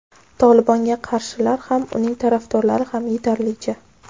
"Tolibon"ga qarshilar ham, uning tarafdorlari ham yetarlicha.